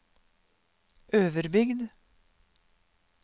Øverbygd